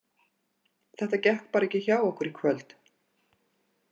Þetta gekk bara ekki hjá okkur í kvöld.